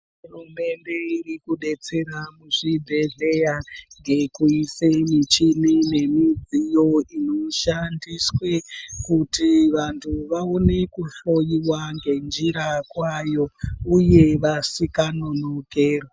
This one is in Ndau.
Hurumende irikubetsera muzvibhedhlera nokuise michini iyo inoshandiswe kuti vantu vaone kuhloiwa nenzira kwayo uye vasinga nonokerwe.